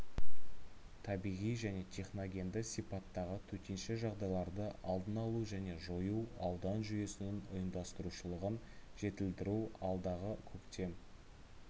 табиғи және техногенді сипаттағы төтенше жағдайларды алдын алу және жою аудан жүйесінің ұйымдастырушылығын жетілдіру алдағы көктем